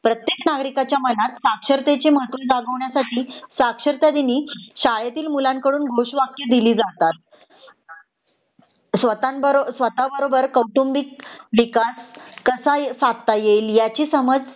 प्रत्येक नगरिकाच्या मनात साक्षरतेचे महत्व जगावण्यासाठी साक्षरता दिनी शाळेतील मुलांकडून घोष वाक्य दिली जातात स्वत: बरोबर कौटुंबिक विकास कसा साधता येईल ह्याची समज